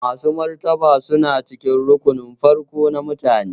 Masu martaba suna cikin rukunun farko na mutane.